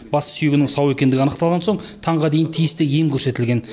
бас сүйегінің сау екендігі анықталған соң таңға дейін тиісті ем көрсетілген